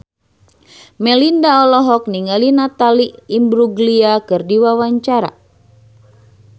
Melinda olohok ningali Natalie Imbruglia keur diwawancara